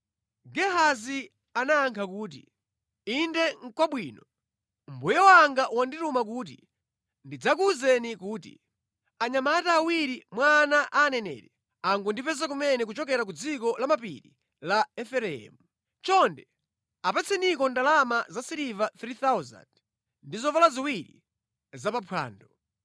Gehazi anayankha kuti, “Inde nʼkwabwino. Mbuye wanga wandituma kuti ndidzakuwuzeni kuti, ‘Anyamata awiri mwa ana a aneneri angondipeza kumene kuchokera ku dziko la mapiri la Efereimu. Chonde apatseniko ndalama za siliva 3,000 ndi zovala ziwiri za pa phwando.’ ”